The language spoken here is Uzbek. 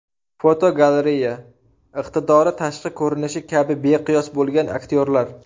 Fotogalereya: Iqtidori tashqi ko‘rinishi kabi beqiyos bo‘lgan aktyorlar.